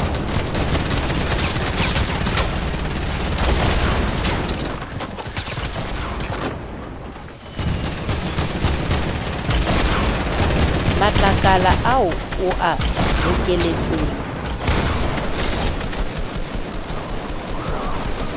matlakala ao o a bokelletseng